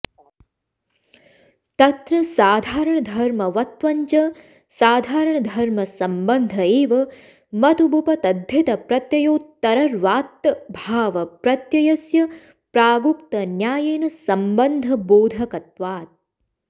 तत्र साधारणधर्मवत्वञ्च साधारणधर्मसम्बन्ध एव मतुबूपतद्धितप्रत्ययोत्तरर्वात्त भावप्रत्ययस्य प्रागुक्तन्यायेन सम्बन्धबोधकत्वात्